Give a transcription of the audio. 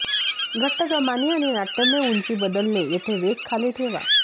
घट्ट कमानी आणि नाट्यमय उंची बदलणे येथे वेग खाली ठेवा